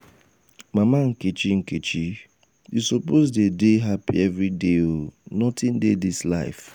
mama nkechi nkechi you suppose dey dey hapi everyday o nothing dey dis life.